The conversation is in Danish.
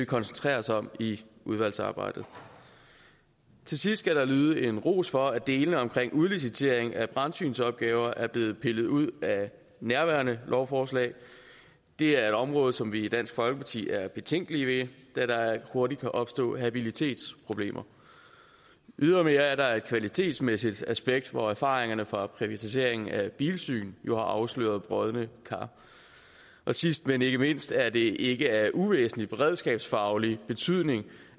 koncentrere os om i udvalgsarbejdet til sidst skal der lyde en ros for at delene omkring udlicitering af brandsynsopgaver er blevet pillet ud af nærværende lovforslag det er et område som vi i dansk folkeparti er betænkelige ved da der hurtigt kan opstå habilitetsproblemer ydermere er der et kvalitetsmæssigt aspekt hvor erfaringerne fra privatiseringen af bilsyn jo har afsløret brodne kar sidst men ikke mindst er det ikke af uvæsentlig beredskabsfaglig betydning